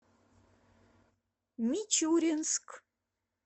мичуринск